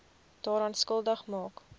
daaraan skuldig maak